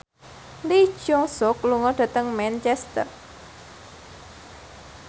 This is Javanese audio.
Lee Jeong Suk lunga dhateng Manchester